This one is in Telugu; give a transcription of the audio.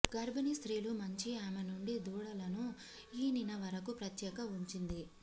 గర్భిణీ స్త్రీలు మంచి ఆమె నుండి దూడలను ఈనిన వరకు ప్రత్యేక ఉంచింది